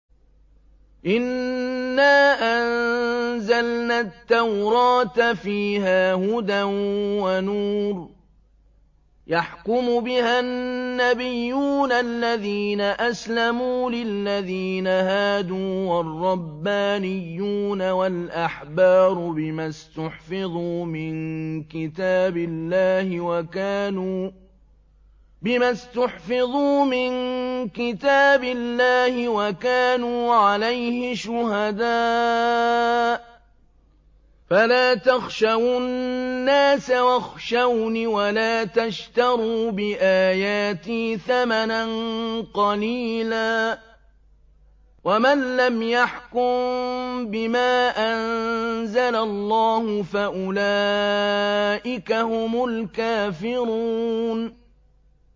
إِنَّا أَنزَلْنَا التَّوْرَاةَ فِيهَا هُدًى وَنُورٌ ۚ يَحْكُمُ بِهَا النَّبِيُّونَ الَّذِينَ أَسْلَمُوا لِلَّذِينَ هَادُوا وَالرَّبَّانِيُّونَ وَالْأَحْبَارُ بِمَا اسْتُحْفِظُوا مِن كِتَابِ اللَّهِ وَكَانُوا عَلَيْهِ شُهَدَاءَ ۚ فَلَا تَخْشَوُا النَّاسَ وَاخْشَوْنِ وَلَا تَشْتَرُوا بِآيَاتِي ثَمَنًا قَلِيلًا ۚ وَمَن لَّمْ يَحْكُم بِمَا أَنزَلَ اللَّهُ فَأُولَٰئِكَ هُمُ الْكَافِرُونَ